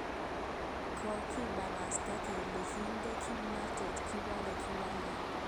Kakibarasta kele kinde kipnotet ikobore kiwole.